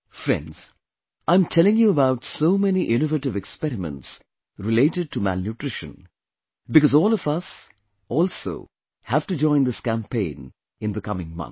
Friends, I am telling you about so many innovative experiments related to malnutrition, because all of us also have to join this campaign in the coming month